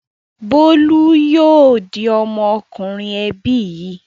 Bólú yóò di ọmọkùnrin ẹbí yìí.